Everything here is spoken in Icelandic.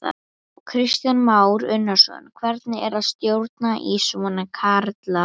Kristján Már Unnarsson: Hvernig er að stjórna í svona karlaríki?